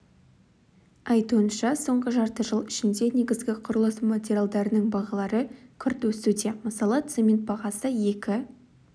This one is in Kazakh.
айтуынша соңғы жарты жыл ішінде негізгі құрылыс материалдарының бағалары күрт өсуде мысалы цемент бағасы екі